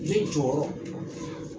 Ne jɔyɔrɔ